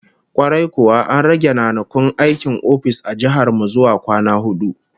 Kwarai kuwa, an rage ranakun aikin ofis a jihar mu zuwa kwana hudu